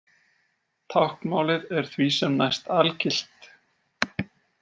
Táknmálið er því sem næst algilt.